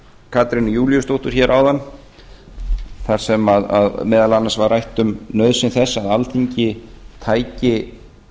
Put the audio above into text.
katrínu júlíusdóttur hér áðan þar sem meðal annars var rætt um nauðsyn þess að alþingi tæki